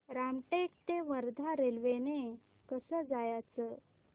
रामटेक ते वर्धा रेल्वे ने कसं जायचं